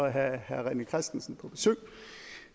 at have herre rené christensen på besøg